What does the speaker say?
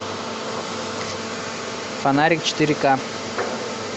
фонарик четыре ка